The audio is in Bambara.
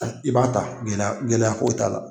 I b'a ta gɛlɛya gɛlɛya ko t'a la.